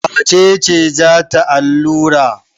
Wace ce za ta allura?